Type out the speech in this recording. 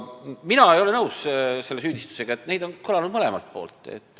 Mina ei ole nõus selle süüdistusega: etteheiteid on kõlanud mõlemalt poolt.